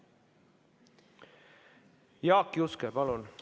Jaak Juske, palun!